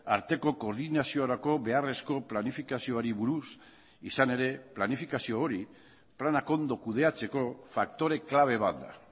arteko koordinaziorako beharrezko planifikazioari buruz izan ere planifikazio hori planak ondo kudeatzeko faktore klabe bat da